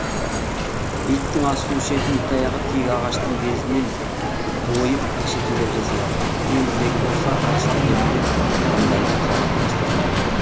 иттің ас су ішетін итаяғы тек ағаштың безінен ойып әшекейлеп жасалады темірдегі болса ырыс кетеді деп ырымдайды қазақ дәстүрінде